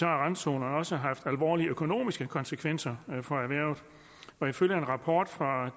har randzonerne også haft alvorlige økonomiske konsekvenser for erhvervet ifølge en rapport fra